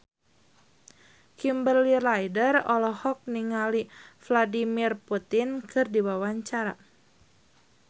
Kimberly Ryder olohok ningali Vladimir Putin keur diwawancara